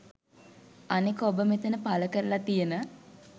අනෙක ඔබ මෙතන පලකරලා තියෙන